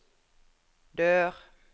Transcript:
dør